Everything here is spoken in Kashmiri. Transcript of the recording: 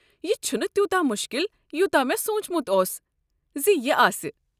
یہِ چھُنہٕ تیوٗتاہ مُشکِل یوٗتاہ مےٚ سونٛچمُت اوس زِ یہِ آسہِ۔